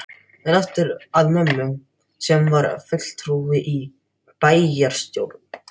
En aftur að mömmu, sem var fulltrúi í bæjarstjórn